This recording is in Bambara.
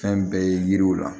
Fɛn bɛɛ ye yiriw la